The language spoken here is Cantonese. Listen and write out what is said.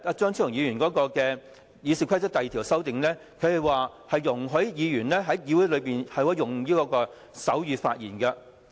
張議員就《議事規則》第2條的修正案，容許議員在議會用手語發言。